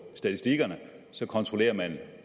statistikkerne kontrollerer man